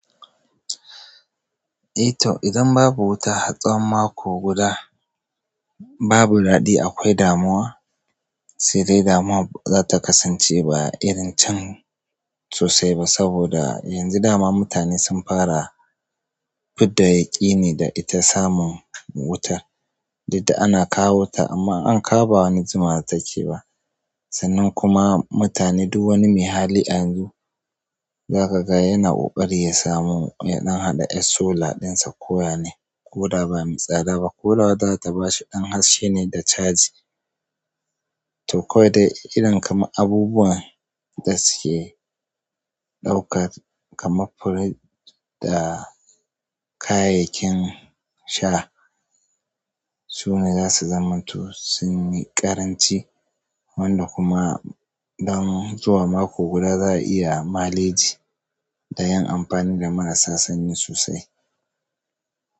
Eh to, idan babu wuta har tsawon mako guda. Babu daɗi akwai damuwa sai dai damuwar baza ta kasance ba irin can sosai ba saboda yanzu dama mutane sun fara. Fidda yaƙi ni da ita samun wutar dudda ana kawo ta amma in an kawo ba wani jumawa take ba sannan kuma mutane duk wani mai hali a yanzu za ka ga yana ƙoƙari ya samu ya ɗan haɗa yar solar ɗin sa ko yaya ne ko da ba mai tsada ba ko da wadda za ta bashi ɗan haske ne da charge. To kawai da irin kamar abubuwan da suke ɗauka kamar fridge da kayayyakin sha su ne zasu zamanto sun yi ƙaranci wanda kuma don zuwa mako guda za a iya maleji da yin amfani da marasa sanyi sosai.